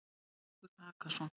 Brettingur Hakason,